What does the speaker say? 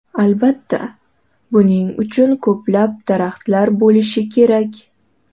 Albatta, buning uchun ko‘plab daraxtlar bo‘lishi kerak.